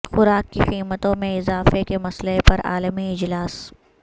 خوراک کی قیمتوں میں اضافے کے مسئلے پر عالمی اجلاس